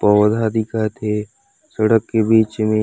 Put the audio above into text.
पौधा दिखत हे सड़क के बिच मे--